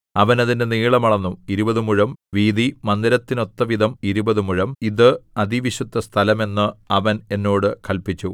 അവൻ അതിന്റെ നീളം അളന്നു ഇരുപതു മുഴം വീതി മന്ദിരത്തിനൊത്തവിധം ഇരുപതു മുഴം ഇത് അതിവിശുദ്ധസ്ഥലം എന്ന് അവൻ എന്നോട് കല്പിച്ചു